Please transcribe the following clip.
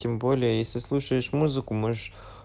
тем более если слушаешь музыку можешь